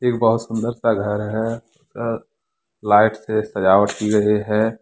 ये बहुत सुन्दर सा घर हैं। अह लाइट से सजावट की गई हैं।